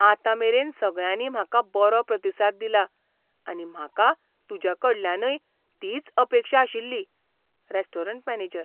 आतांमेरेन सगळ्यांनी म्हाका बरो प्रतिसाद दिला आनी म्हाका तुज्या कडल्यानय तीच अपेक्षा आशिल्ली. Restaurant manager